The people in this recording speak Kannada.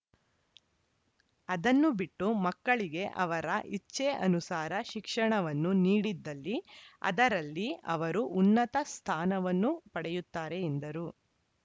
ಅದನ್ನು ಬಿಟ್ಟು ಮಕ್ಕಳಿಗೆ ಅವರ ಇಚ್ಛೆ ಅನುಸಾರ ಶಿಕ್ಷಣವನ್ನು ನೀಡಿದಲ್ಲಿ ಅದರಲ್ಲಿ ಅವರು ಉನ್ನತ ಸ್ಥಾನವನ್ನು ಪಡೆಯುತ್ತಾರೆ ಎಂದರು